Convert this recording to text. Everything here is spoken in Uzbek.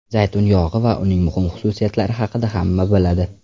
Zaytun yog‘i va uning muhim xususiyatlari haqida hamma biladi.